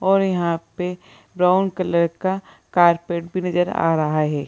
और यहां पे ब्राउन कलर का कारपेट भी नजर आ रहा है।